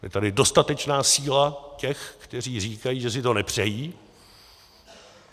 Je tady dostatečná síla těch, kteří říkají, že si to nepřejí.